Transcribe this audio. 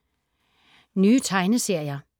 Nye tegneserier